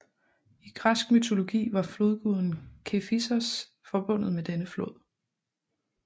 I græsk mytologi var flodguden Kephissos forbundet med denne flod